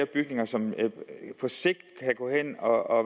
bygninger som på sigt kan gå hen og